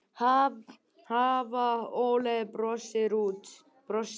Hafa óeirðir brotist út